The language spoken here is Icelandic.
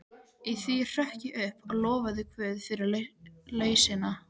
Í því hrökk ég upp og lofaði guð fyrir lausnina.